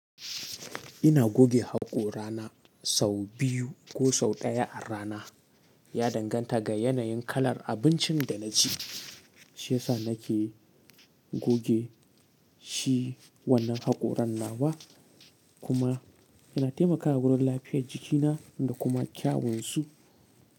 Ina goge haƙorana sau biyu ko sau ɗaya a rana. Ya danganta ga yanayin kalar abincin da na ci, shi yasa na ke goge shi wannan haƙoran nawa kuma yana taimakawa wurin lafiyar jikina da kuma kyawun su.